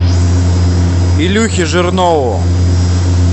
илюхе жирнову